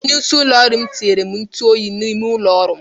Onyeisi ụlọ ọrụ m tinyere m ntụ oyi n'ime ụlọ ọrụ m.